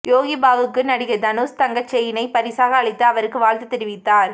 யோகி பாபுவுக்கு நடிகர் தனுஷ் தங்கச் செயினை பரிசாக அளித்து அவருக்கு வாழ்த்து தெரிவித்தார்